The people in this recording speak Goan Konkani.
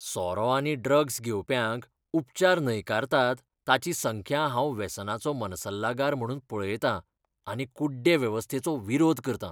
सोरो आनी ड्रग्स घेवप्यांक उपचार न्हयकारतात ताची संख्या हांव वेसनाचो मनसल्लागार म्हणून पळयतां आनी कुड्डे वेवस्थेचो विरोध करता.